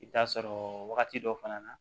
I bɛ t'a sɔrɔ wagati dɔ fana na